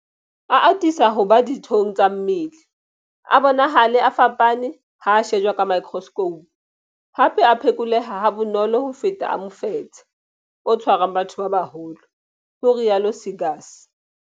A atisa ho ba dithong tsa mmele, a bonahale a fapane ha a shejwa ka maekroskhoupu, hape a phekoleha ha bonolo ho feta a mofetshe o tshwarang batho ba baholo, ho rialo Seegers.